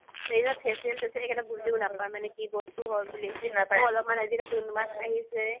ইমান facial তেচিয়েল বুলি বুজিও নাপাই মানে কি বস্তু হয় আহিছে